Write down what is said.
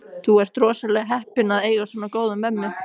Þú ert rosalega heppinn að eiga svona góða mömmu.